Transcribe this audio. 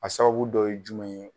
A sababu dɔ ye jumɛn ye.